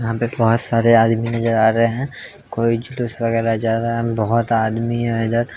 यह पे बहोत सारे आदमी नजार आ रहे हैं| कोई जुलूस वागेरह जा रहा है बहोत आदमी है इधर |